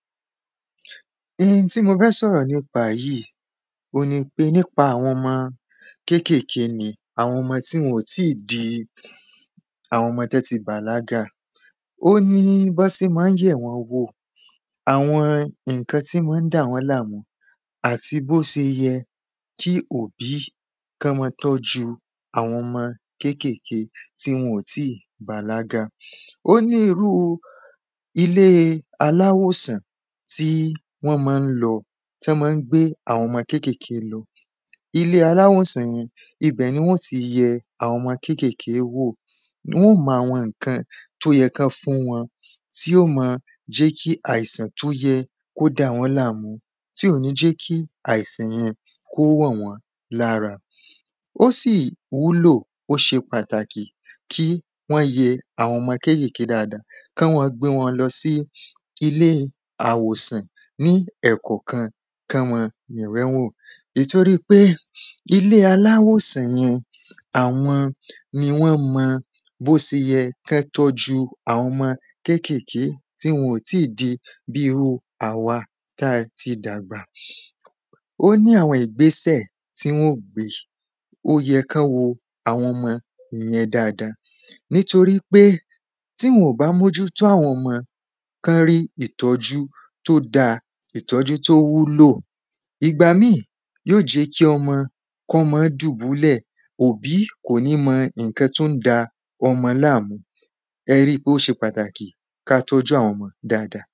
Hin tí mo fẹ́ sọ̀rọ̀ nípa yìí on nipé nípa àwọn ọmọ kékékèé ni àwọn ọmọ tí wọn ò tí di àwọn ọmọ tí wọn ti bàlágà ó ní bọ́n sé mọ́ ń yẹ̀ wọ́n wò àwọn nǹkan tí mọ́ ń dà wọ́n láàmú àti bó se yẹ kí òbí kán mọ́ tọ́jú àwọn ọmọ kékékèé tí wọn ò tí bàlágà. O ní irú ilé aláwòsàn tí wọ́n mọ́ ń lọ tán mọ́ ń gbé àwọn ọmọ kékékèé lọ. Ilé aláwòsàn yẹn ibẹ̀ ni wọn ó ti yẹ àwọn ọmọ kékékèé wò wọ́n mọ àwọn nǹkan tó yẹ kán fún wọn tí ó mọ jẹ́ kí àìsàn tó yẹ kó dà wọ́n láàmú tí ò ní jẹ́ kí àìsàn yẹn kó wọ̀ wọ́n lára. Ó sì wúlò ó ṣe pàtàkì kí wọ́n yẹ àwọn ọmọ kékékèé dáada kán mọ́ gbé wọn lọ sí ilé àwòsàn ní ẹ̀kọ̀kan kán mọ́ bẹ̀ wọ́n wò nìtoɹípé ilé aláwòsàn yun àwọn ni wọ́n mọ bó se yẹ kí wọ́n tọ́jú àwọn ọmọ kékékèé tí wọn ò tí di bí irú àwa tá ti dàgbà. Ó ní àwọn ìgbẹ́sẹ̀ tí wọ́n ó gbé ó yẹ kán wo àwọn ọmọ yẹn dáada nítorípé tí wọn ò bá mójútó àwọn ọmọ kán rí ìtọ́jú tó dá ìtọ́jú tó wúlò. Ìgbà míì yóò jẹ́ kí ọmọ kọ́mọ dùbúlẹ̀ òbí kò ní mọ nǹkan tí ó ń da ọmọ láàmú ẹ rí pé ó ṣe pàtàkì ká tọ́jú àwọn ọmọ dáada.